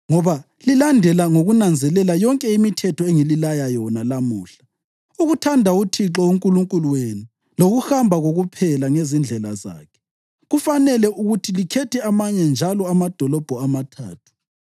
ngoba lilandela ngokunanzelela yonke imithetho engililaya yona lamuhla, ukuthanda uThixo uNkulunkulu wenu lokuhamba kokuphela ngezindlela zakhe, kufanele ukuthi likhethe amanye njalo amadolobho amathathu.